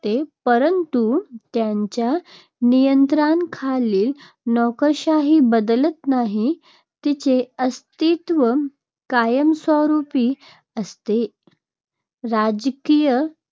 ते परंतु त्यांच्या नियंत्रणाखालील नोकरशाही बदलत नाही. तिचे अस्तित्व कायमस्वरूपी असते. राजकीय